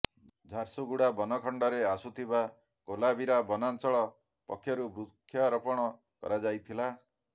ଝାରସୁଗୁଡ଼ା ବନଖଣ୍ଡରେ ଆସୁଥିବା କୋଲାବିରା ବନାଞ୍ଚଳ ପକ୍ଷରୁ ବୃକ୍ଷରୋପଣ କରାଯାଇଥିଲା